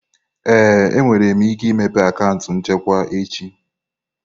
Ee, ị nwere ike imepe akaụntụ nchekwa echi.